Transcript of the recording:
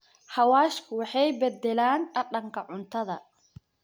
Xawaashku waxay beddelaan dhadhanka cuntada.